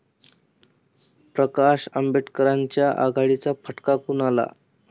प्रकाश आंबेडकरांच्या आघाडीचा फटका कुणाला?